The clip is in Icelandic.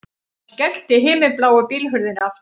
Hann skellti himinbláu bílhurðinni aftur